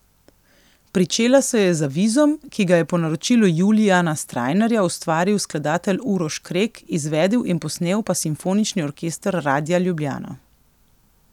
Pričela se je z avizom, ki ga je po naročilu Julijana Strajnarja ustvaril skladatelj Uroš Krek, izvedel in posnel pa Simfonični orkester Radia Ljubljana.